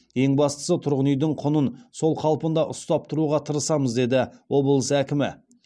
ең бастысы тұрғын үйдің құнын сол қалпында ұстап тұруға тырысамыз деді облыс әкімі